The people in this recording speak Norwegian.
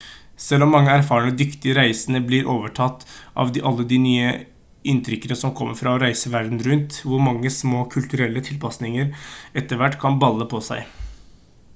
selv mange erfarne dyktige reisende blir overtatt av alle de nye inntrykkene som kommer fra å reise verden rundt hvor mange små kulturelle tilpasninger etter hvert kan balle på seg